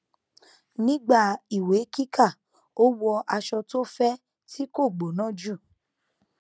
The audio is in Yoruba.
nígbà ìwé kíkà ó wọ aṣọ tó fẹ tí kò gbóná jù